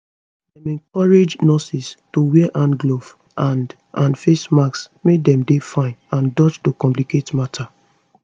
dem encourage nurses to wear hand gloves and and face masks make dem dey fine and dodge to complicate matter